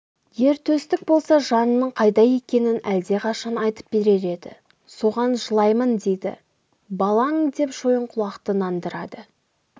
ер төстік болса жанының қайда екенін әлдеқашан айтып берер еді соған жылаймын дейді балаң деп шойынқұлақты нандырады